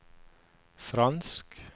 fransk